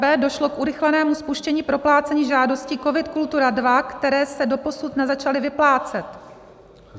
b) došlo k urychlenému spuštění proplácení žádostí COVID - Kultura II, které se doposud nezačaly vyplácet.